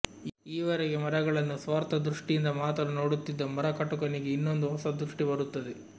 ಈವರೆಗೆ ಮರಗಳನ್ನು ಸ್ವಾರ್ಥ ದೃಷ್ಟಿಯಿಂದ ಮಾತ್ರ ನೋಡುತ್ತಿದ್ದ ಮರಕಟುಕನಿಗೆ ಇನ್ನೊಂದು ಹೊಸ ದೃಷ್ಟಿ ಬರುತ್ತದೆ